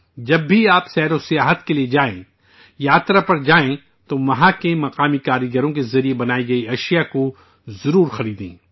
جب بھی آپ سیاحت پر جائیں، تیرتھاٹن پر جائیں، تو وہاں کے مقامی کاریگروں کے ذریعے بنائی گئی مصنوعات کو ضرور خریدیں